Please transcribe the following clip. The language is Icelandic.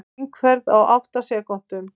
Hringferð á átta sekúndum